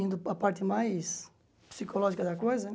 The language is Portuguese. Indo para a parte mais psicológica da coisa, né?